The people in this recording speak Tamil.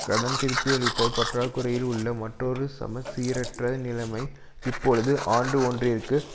கடன் திருப்பியளித்த பற்றாக்குறையில் உள்ள மற்றொரு சமச்சீரற்ற நிலைமை இப்பொழுது ஆண்டு ஒன்றிற்கு